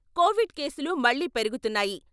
Covid కేసులు మళ్లీ పెరుగుతున్నాయి.